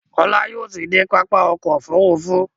kola yóò tí dé pápá ọkọ̀ òfurufú.